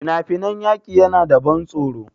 Fina-finan yaƙi na da ban tsoro.